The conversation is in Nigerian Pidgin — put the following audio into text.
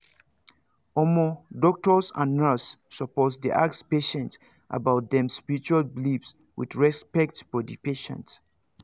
omo doctors and nurse supposed dey ask patients about them spiritual beliefs with respect for the patient